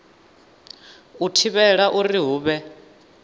u thivhela uri hu vhe